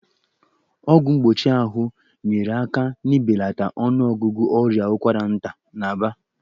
Ọgwụ mgbochi ahụ nyeere aka n'ibelata ọnụọgụgụ ọrịa ụkwara nta n'Aba.